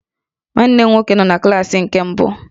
Nwanne m nwoke nọ na klaasị praịmarị nke mbụ